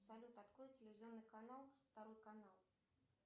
салют открой телевизионный канал второй канал